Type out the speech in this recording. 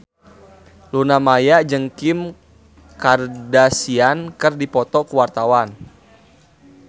Luna Maya jeung Kim Kardashian keur dipoto ku wartawan